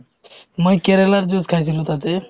মই কেৰেলাৰ juice খাইছিলো তাতে